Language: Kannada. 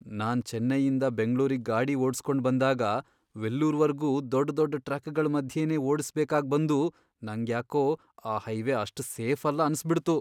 ನಾನ್ ಚೆನ್ನೈಯಿಂದ ಬೆಂಗ್ಳೂರಿಗ್ ಗಾಡಿ ಓಡ್ಸ್ಕೊಂಡ್ ಬಂದಾಗ ವೆಲ್ಲೂರ್ವರ್ಗೂ ದೊಡ್ ದೊಡ್ ಟ್ರಕ್ಗಳ್ ಮಧ್ಯೆನೇ ಓಡ್ಸ್ಬೇಕಾಗ್ಬಂದು ನಂಗ್ಯಾಕೋ ಆ ಹೈವೇ ಅಷ್ಟ್ ಸೇಫಲ್ಲ ಅನ್ಸ್ಬಿಡ್ತು.